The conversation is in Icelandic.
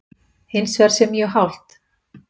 Hins vegar sé mjög hált